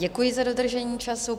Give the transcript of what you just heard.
Děkuji za dodržení času.